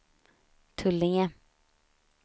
Tullinge